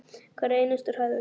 Hverja einustu hræðu!